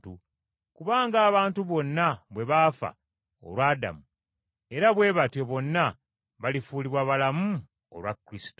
Kuba ng’abantu bonna bwe baafa olwa Adamu, era bwe batyo bonna balifuulibwa abalamu olwa Kristo.